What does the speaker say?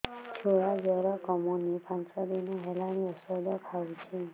ଛୁଆ ଜର କମୁନି ପାଞ୍ଚ ଦିନ ହେଲାଣି ଔଷଧ ଖାଉଛି